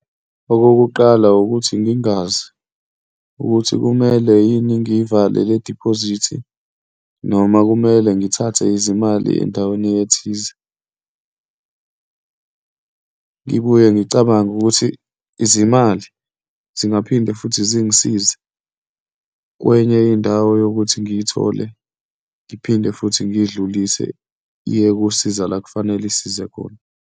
Okokuqala ukuthi ngingazi ukuthi kumele yini ngiyivale lediphozithi noma kumele ngithathe izimali endaweni ethize, ngibuye ngicabange ukuthi izimali zingaphinde futhi zingisize kwenye indawo yokuthi ngiyithole, ngiphinde futhi ngiyidlulise, iye kusiza la kufanele isize khona.